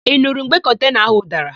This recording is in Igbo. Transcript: Ị nurụ mgbe kọntena ahụ dara?